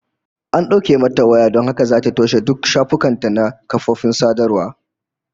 An dauke mata waya don haka zata toshe duk shafukan ta na kafofin sadarwa